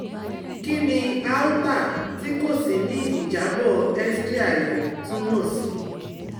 Kini aorta ti ko ṣii ni ijabọ X ray àyà tumọ si?